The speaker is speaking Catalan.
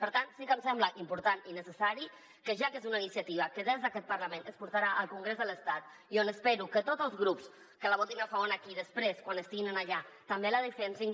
per tant sí que em sembla important i necessari que ja que és una iniciativa que des d’aquest parlament es portarà al congrés de l’estat i on espero que tots els grups que la votin a favor aquí després quan estiguin allà també la defensin